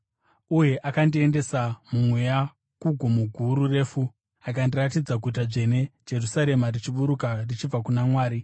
Uye akandiendesa muMweya kugomo guru refu, akandiratidza Guta Dzvene, Jerusarema, richiburuka richibva kuna Mwari.